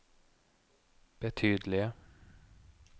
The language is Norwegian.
betydelige